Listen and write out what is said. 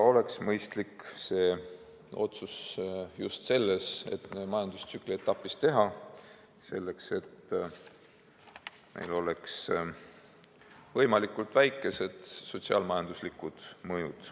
Oleks mõistlik see otsus just selles majandustsükli etapis teha, et sellel oleks võimalikult väikesed sotsiaal-majanduslikud mõjud.